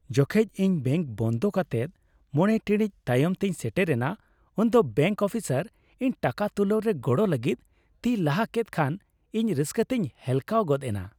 ᱡᱚᱠᱷᱮᱡ ᱤᱧ ᱵᱮᱝᱠ ᱵᱚᱱᱫ ᱠᱟᱛᱮᱜ ᱕ ᱴᱤᱲᱤᱡ ᱛᱟᱭᱚᱢ ᱛᱮᱧ ᱥᱮᱴᱮᱨᱮᱱᱟ ᱩᱱᱫᱚ ᱵᱮᱝᱠ ᱚᱯᱷᱤᱥᱟᱨ ᱤᱧ ᱴᱟᱠᱟ ᱛᱩᱞᱟᱹᱣ ᱨᱮ ᱜᱚᱲᱚ ᱞᱟᱹᱜᱤᱫ ᱛᱤᱭ ᱞᱟᱦᱟ ᱠᱮᱫ ᱠᱷᱟᱱ ᱤᱧ ᱨᱟᱹᱥᱠᱟᱹᱛᱮᱧ ᱦᱮᱞᱠᱟᱣ ᱜᱚᱫ ᱮᱱᱟ ᱾